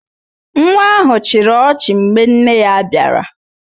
Nwa ahụ chịrị ọchị mgbe nne ya bịara